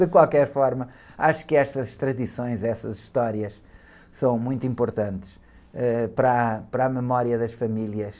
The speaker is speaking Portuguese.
De qualquer forma, acho que estas tradições, estas histórias, são muito importantes, ãh, para a, para a memória das famílias,